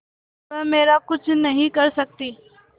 वह मेरा कुछ नहीं कर सकती